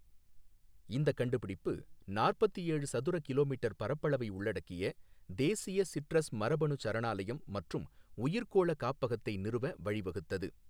இந்த கண்டுபிடிப்பு நாற்பத்தி ஏழு சதுர கிலோமீட்டர் பரப்பளவை உள்ளடக்கிய தேசிய சிட்ரஸ் மரபணு சரணாலயம் மற்றும் உயிர்க்கோள காப்பகத்தை நிறுவ வழிவகுத்தது.